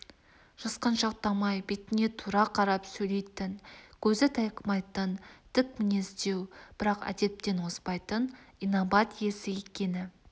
жасқаншақтамай бетіңе тура қарап сөйлейтін көзі тайқымайтын тік мінездеу бірақ әдептен озбайтын инабат иесі екені